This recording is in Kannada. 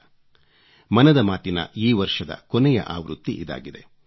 ಮನದ ಮಾತಿನ ಮನ್ ಕಿ ಬಾತ್ ಈ ವರ್ಷದ ಕೊನೆಯ ಆವೃತ್ತಿ ಇದಾಗಿದೆ